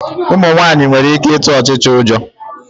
Ụmụ nwaanyị nwere ike ịtụ ọchịcha ụjọ.